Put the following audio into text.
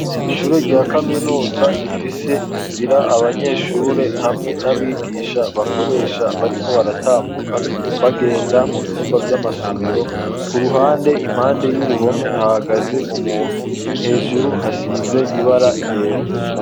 Ishure rya kaminuza, rifise inzira, abanyeshure, hamwe n'abigisha, bakoresha, bariko baratambuka, bagenda mu vyumba vy'amasomero; ku ruhande, impande y'uruhome, hahagaze umuntu; hejuru, hasize ibara ryera.